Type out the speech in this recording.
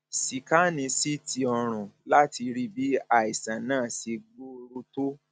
síkánì ct ọrùn láti rí bí àìsàn náà ṣe gbòòrò tó